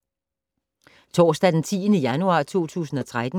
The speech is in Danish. Torsdag d. 10. januar 2013